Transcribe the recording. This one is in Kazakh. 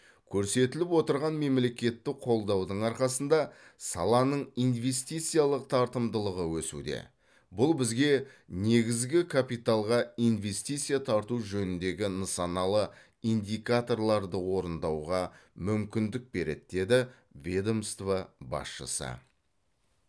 көрсетіліп отырған мемлекеттік қолдаудың арқасында саланың инвестициялық тартымдылығы өсуде бұл бізге негізгі капиталға инвестиция тарту жөніндегі нысаналы индикаторларды орындауға мүмкіндік береді деді ведомство басшысы